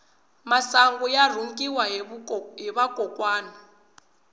masangu ya rhungiwa hi vakokwani